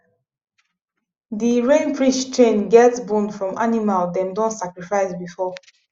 the rain priest chain get bone from animal dem don sacrifice before